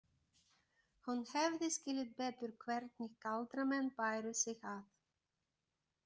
Hún hefði skilið betur hvernig galdramenn bæru sig að.